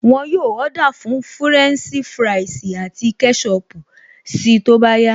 Wọn yóò Ọ́dà fún fúrẹ́ǹṣì fúráìsì àti kẹ́ṣọpù si tó bá yá